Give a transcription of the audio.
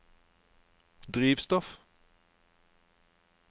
drivstoff